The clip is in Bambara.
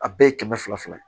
A bɛɛ ye kɛmɛ fila fila ye